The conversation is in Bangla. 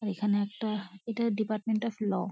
এখানে একটা এটা ডিপার্টমেন্ট অফ ল ।